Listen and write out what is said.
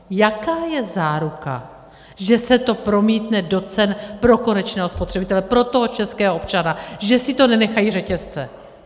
Jaká je záruka, že se to promítne do cen pro konečného spotřebitele, pro toho českého občana, že si to nenechají řetězce?